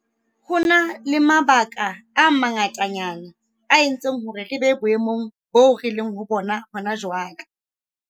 Ho na le mabaka a manga tanyana a entseng hore re be boemong boo re leng ho bona hona jwale.